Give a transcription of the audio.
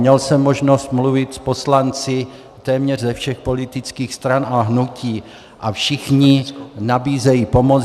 Měl jsem možnost mluvit s poslanci téměř ze všech politických stran a hnutí a všichni nabízejí pomoc.